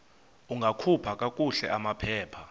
ungakhupha kakuhle amaphepha